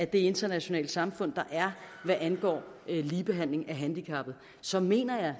det internationale samfund der er hvad angår ligebehandling af handicappede så mener jeg